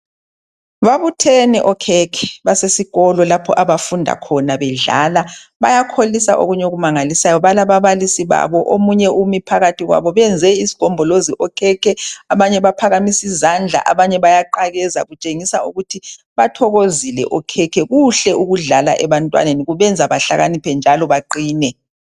Babuthene okhekhe basesikolweni lapho abafunda khona bedlala bayakholisa okunye okumangalisayo balababalisi babo omunye umi phakathi kwabo, benze isigombolozi okhekhe abanye baphakamise izandla, abanye bayaqakeza kutshengisa ukuthi bathokozile okhekhe. Kuhle ukudlala ebantwaneni kubenza bahlakaniphe njalo baqine.